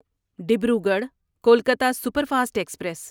Dibrugarh Kolkata superfast express